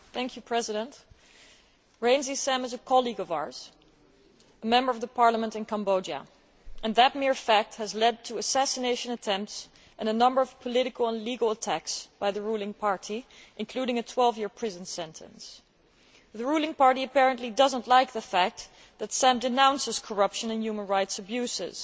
Mr President, Sam Rainsy is a colleague of ours, a member of the parliament in Cambodia. That mere fact has led to assassination attempts and a number of political and legal attacks by the ruling party, including a 12 year prison sentence. The ruling party apparently does not like the fact that Sam Rainsy denounces corruption and human rights abuses.